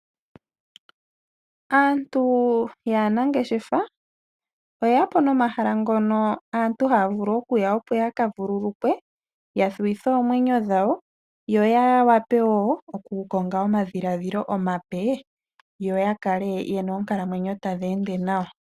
Aantu yaanangeshefa oyeya po nomahala ngono aantu haya vulu okuya opo yaka vululukwe, ya thuwithe oomwenyo dhawo, yo ya wape wo oku konga omadhiladhilo omape, yo ya kale yena oonkalamwenyo tadhi ende nawa.